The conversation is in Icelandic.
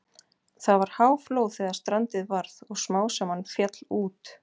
Það var háflóð þegar strandið varð og smám saman féll út.